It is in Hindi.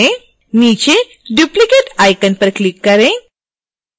नीचे duplicate आइकन पर क्लिक करें